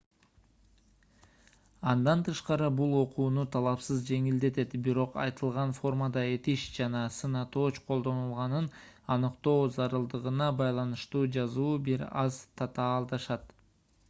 андан тышкары бул окууну талашсыз жеңилдетет бирок айтылган формада этиш жана сын атооч колдонулганын аныктоо зарылдыгына байланыштуу жазуу бир аз татаалдашат